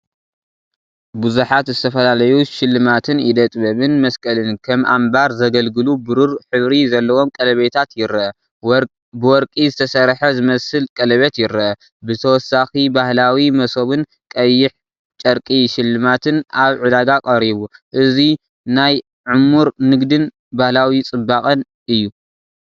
ብዙሓት ዝተፈላለዩ ስልማትን ኢደ ጥበብን መስቀልን ከም ኣምባር ዘገልግሉ ብሩር ሕብሪ ዘለዎም ቀለቤታት ይርአ፣ ወርቂ ዝተሰርሐ ዝመስል ቀለቤት ይርአ። ብተወሳኺ ባህላዊ መሶብን ቀይሕ ጨርቂ ሽልማትን ኣብ ዕዳጋ ቀሪቡ። እዚ ናይ ዕሙር ንግድን ባህላዊ ጽባቐን እዩ።